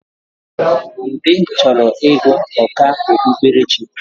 Ude chọrọ ịgụ ọkà okpukperechi